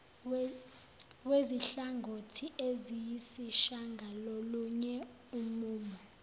wezinhlangothi eziyisishagalolunye umumo